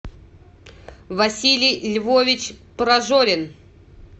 василий львович прожорин